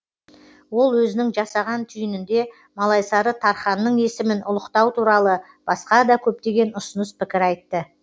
ол өзінің жасаған түйінінде малайсары тарханның есімін ұлықтау туралы басқа да көптеген ұсыныс пікір айтты